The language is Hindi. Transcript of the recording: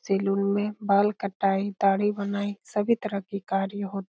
सेलून में बाल कटाए दाढ़ी बनाए सभी तरह के कार्य हो --